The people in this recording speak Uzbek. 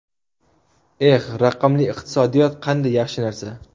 Eh, raqamli iqtisodiyot qanday yaxshi narsa.